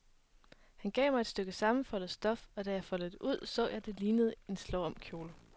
Han gav mig et stykke sammenfoldet stof, og da jeg foldede det ud, så jeg, at det lignede en slåomkjole.